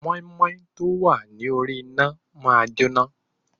Mọ́ímọ́í tọ́ wá ní orí iná máa jóná,